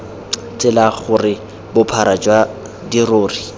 tsela gore bophara jwa dirori